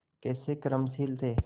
कैसे कर्मशील थे